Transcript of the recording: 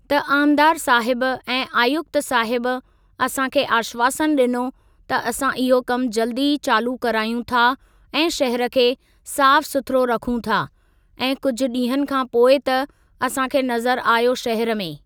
त आमदार साहबु ऐं आयुक्त साहब असां खे आशवासन ॾिनो त असां इहो कमु जल्दी ई चालू करायूं था ऐं शहर खे साफ़ सुथिरो रखूं था ऐं कुझु ॾींहंनि खां पोइ त असां खे नज़र आयो शहर में।